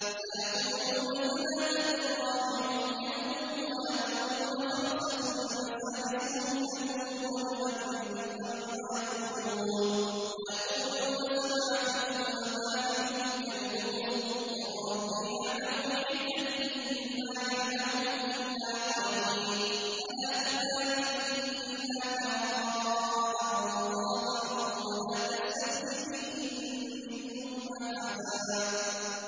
سَيَقُولُونَ ثَلَاثَةٌ رَّابِعُهُمْ كَلْبُهُمْ وَيَقُولُونَ خَمْسَةٌ سَادِسُهُمْ كَلْبُهُمْ رَجْمًا بِالْغَيْبِ ۖ وَيَقُولُونَ سَبْعَةٌ وَثَامِنُهُمْ كَلْبُهُمْ ۚ قُل رَّبِّي أَعْلَمُ بِعِدَّتِهِم مَّا يَعْلَمُهُمْ إِلَّا قَلِيلٌ ۗ فَلَا تُمَارِ فِيهِمْ إِلَّا مِرَاءً ظَاهِرًا وَلَا تَسْتَفْتِ فِيهِم مِّنْهُمْ أَحَدًا